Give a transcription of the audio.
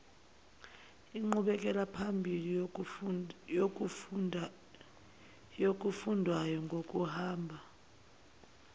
inqubekelaphambili yokufundwayo ngokuhamba